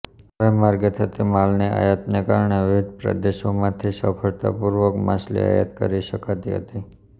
હવાઇ માર્ગે થતી માલની આયાતને કારણે વિવિધ પ્રદેશોમાંથી સફળતાપૂર્વક માછલી આયાત કરી શકાતી હતી